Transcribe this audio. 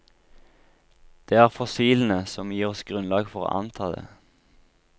Det er fossilene som gir oss grunnlag for å anta det.